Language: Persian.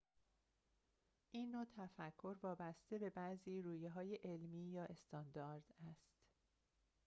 این نوع تفکر وابسته به بعضی رویه‌های علمی یا استاندارد است